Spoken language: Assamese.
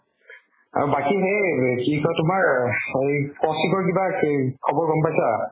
আৰু বাকি সেই কি কই তুমাৰ কৌশিকৰ কিবা খবৰ গ'ম পাইছা?